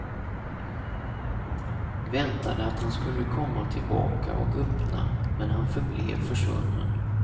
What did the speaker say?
Väntade att han skulle komma tillbaka och öppna, men han förblev försvunnen.